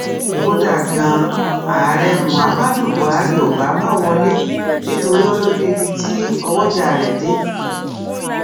kódà ganan ààrẹ muhammadu buhari ò bá má wọlé nítorí ó lójú ibi tí ọwọjà rẹ dé